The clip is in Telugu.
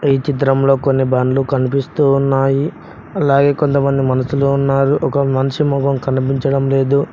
ఈ చిత్రంలో కొన్ని బండ్లు కనిపిస్తున్నాయి అలాగే కొంతమంది మనసులో ఉన్నారు ఒక మనిషి మొహం కనిపించడం లేదు.